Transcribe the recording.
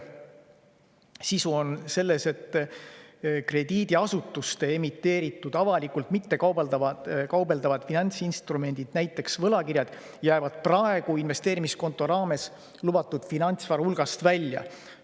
Selle sisu on selles, et krediidiasutuste emiteeritud avalikult mittekaubeldavad finantsinstrumendid, näiteks võlakirjad, jäävad praegu investeerimiskonto raames lubatud finantsvara hulgast välja.